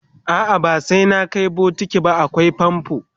a'a ba sai na Kai bokiti ba akwai famfo